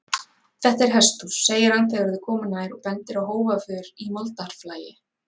Þetta er hesthús, segir hann þegar þau koma nær og bendir á hófaför í moldarflagi.